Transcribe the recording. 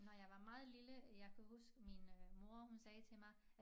Når jeg var meget lille jeg kan huske min øh mor hun sagde til mig